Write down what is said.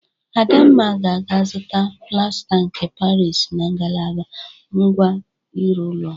Adamma ga-aga zụta plasta nke Parịs na ngalaba ngwa ịrụ ụlọ.